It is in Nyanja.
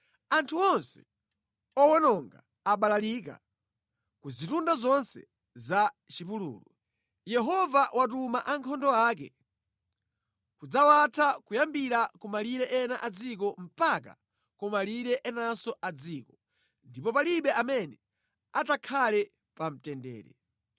Anthu onse owononga abalalikira ku zitunda zonse za mʼchipululu. Yehova watuma ankhondo ake kudzawatha kuyambira kumalire ena a dziko mpaka ku malire enanso a dziko, ndipo palibe amene adzakhale pa mtendere.